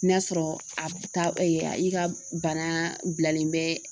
Ni y'a sɔrɔ a b ta ɛ i ka bana bilalen bɛ